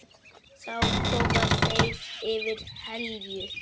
Þá koma þeir yfir Helju.